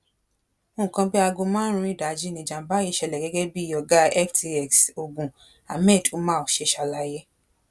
nǹkan bíi aago márùnún ìdajì níjàmbá yìí ṣẹlẹ gẹgẹ bí ọgá ftx ogun ahmed umar ṣe ṣàlàyé